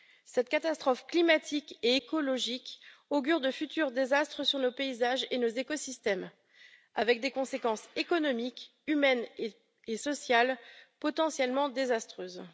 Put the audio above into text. Cette catastrophe climatique et écologique augure de futurs désastres dans nos paysages et nos écosystèmes, avec des conséquences économiques, humaines et sociales potentiellement désastreuses.